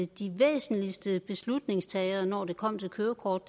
de væsentligste beslutningstagere når det kom til kørekort